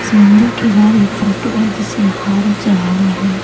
इस मंदिर के बाहर एक फोटो है जिसमें हार चढ़ा हुआ है।